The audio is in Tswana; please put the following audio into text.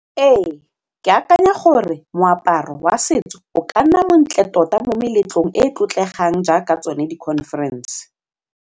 Ee ke akanya gore moaparo wa setso o ka nna montle tota mo meletlong e e tlotlegang jaaka tsone di-conference.